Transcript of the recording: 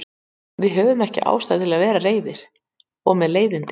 Við höfðum ekki ástæðu til að vera reiðir og með leiðindi.